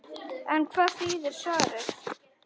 En hvað þýðir svarið?